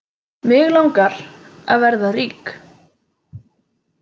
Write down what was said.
Mig langar að vera rík.